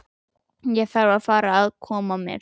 Ég þarf að fara að koma mér.